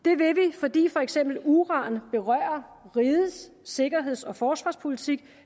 fordi for eksempel uran berører rigets sikkerheds og forsvarspolitik